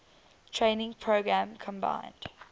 training program combined